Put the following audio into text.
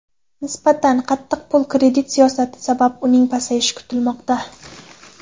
Nisbatan qattiq pul-kredit siyosati sabab uning pasayishi kutilmoqda.